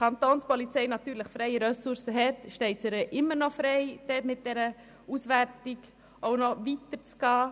Wenn natürlich die Kapo freie Ressourcen hat, steht es ihr frei, mit dieser Auswertung noch weiter zu gehen.